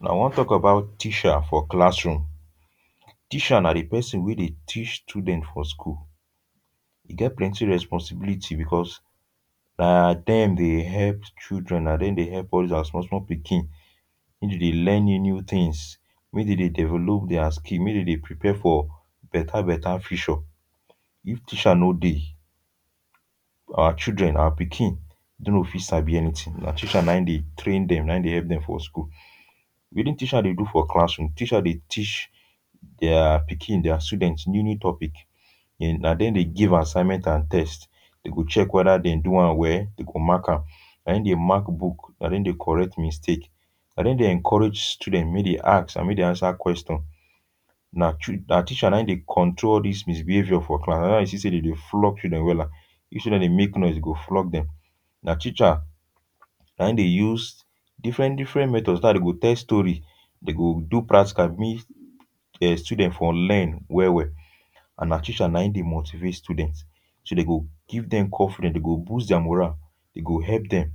Now, I wan talk about teacher for classroom. Teacher na di pesin wey dey teach students for school. E get plenty responsibility because na dem dey help children, na dem dey help all these our small small pikin wey dey dey learn new new tins, wey dey dey develop dia skills, make dem dey prepare for better better future. If teacher no dey, our children, our pikin no go fit sabi anything. Na teacher na im dey train dem, na im dey help dem for school. Wetin teacher dey do for classroom? Teacher dey teach dia pikin, dia students new new topic. Na dem dey give assignments and tests. Dem go check whether dem do am well, dem go mark am. Na dem dey mark book, na dem dey correct mistake. Na dem dey encourage students make dem dey ask and make dem dey answer question. Na, na teacher wey dey control dis misbehaviour for class. Na how dey see say dem dey flog children wella. If say dem dey make noise, dey go flog dem. Na teacher na im dey use different different method dey go tell story, dem go do practical, make um students for learn well well, and na teacher na im dey motivate students. So dem go give dem, dem go boost dia morale. Dem go help dem.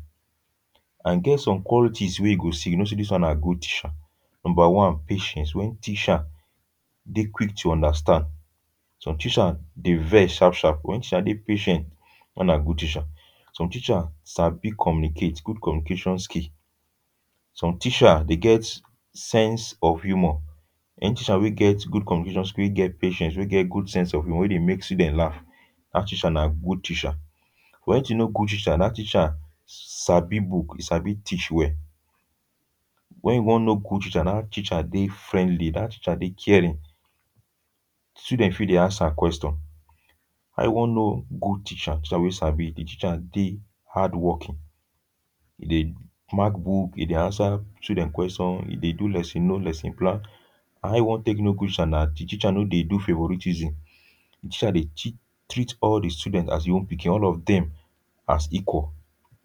And e get some wey you go see, you go know say dis one na good teacher. Number one, patience — when teacher dey quick to understand. Some teachers dey vex sharp sharp. When teacher dey patient, dat na good teacher. Some teacher sabi communicate — good communication skill. Some teacher dey get sense of humour. Any teacher wey good communication skill, wey get patience, wey get good sense of humour, wey dey make students laugh, dat teacher na good teacher. For you to know good teacher, dat teacher sabi book, e sabi teach well. When you wan know good teacher, dat teacher dey friendly, dat teacher dey caring, students fit dey ask am question. How you wan know good teacher, teacher wey sabi, di teacher dey hardworking? E dey mark book, e dey answer student question, e dey do lesson, know lesson plan. How you wan take know good teacher na di teacher no dey do favouritism, di teacher dey treat all di students as im own pikin, all of dem as equal.